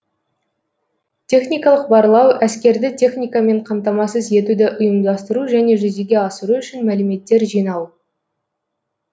техникалық барлау әскерді техникамен қамтамасыз етуді ұйымдастыру және жүзеге асыру үшін мәліметтер жинау